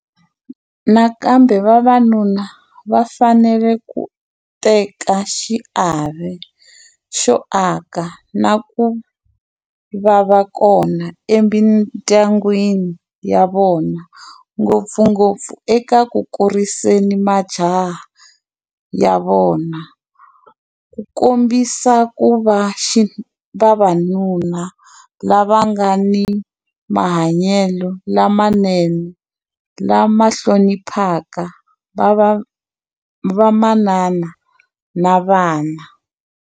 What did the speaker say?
Nakambe vavanuna va fanele ku teka xiave xo aka na ku va kona emindyangwini ya vona, ngopfungopfu eka ku kuriseni majaha ya vona ku kombisa ku va vaxinuna lava nga ni mahanyelo lamenene lama hloniphaka vamanana na vana.